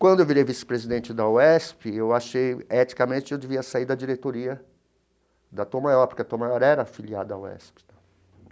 Quando eu virei vice-presidente da UESP, eu achei, eticamente, que eu devia sair da diretoria da Tom Maior, porque a Tom Maior era afiliada à UESP tal.